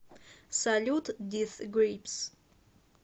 салют дис грипс